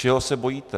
Čeho se bojíte?